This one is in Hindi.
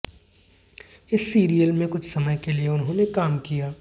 इस सीरियल में कुछ समय के लिए उन्होंने काम किया